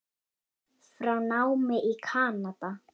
frá námi í Kanada.